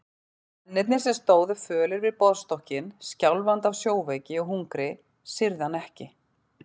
Mennirnir sem stóðu fölir við borðstokkinn, skjálfandi af sjóveiki og hungri, syrgðu hann ekki.